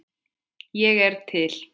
Ég er til.